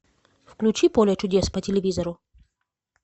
включи поле чудес по телевизору